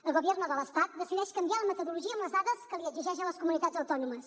el gobierno de l’estat decideix canviar la metodologia amb les dades que exigeix a les comunitats autònomes